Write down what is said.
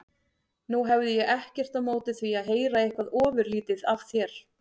Nú hefði ég ekkert á móti því að heyra eitthvað ofurlítið af þér.